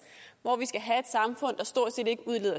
hvor vi skal have et samfund der stort set ikke udleder